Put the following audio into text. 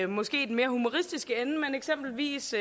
måske i den mere humoristiske ende eksempelvis